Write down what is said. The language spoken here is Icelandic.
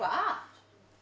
að